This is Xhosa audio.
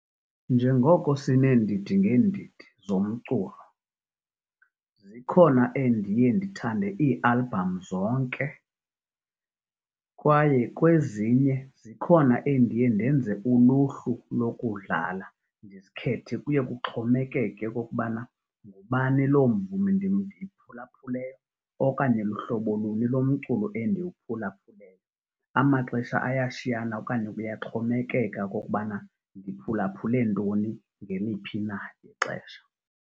Njengoko sineendidi ngeendidi zomculo. Zikhona endiye ndithande iialbham zonke kwaye kwezinye zikhona endiye ndenze uluhlu lokudlala ndizikhethe, kuye kuxhomekeke okokubana ngubani loo mvumi ndiyiphulaphuleyo okanye hlobo luni lomculo endiwuphulaphuleyo. Amaxesha ayashiyana okanye kuyaxhomekeka okokubana ndiphulaphule ntoni ngeliphi na ixesha.